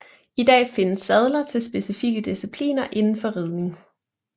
I dag findes sadler til specifikke discipliner inden for ridning